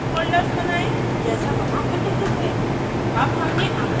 कृपया sub folders बनायें जैसा वहां उल्लिखित है